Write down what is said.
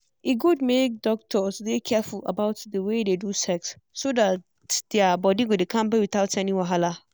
e good make doctors dey careful about the way they do sex so that their body go dey kampe without any wahala.